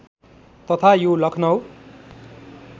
तथा यो लखनऊ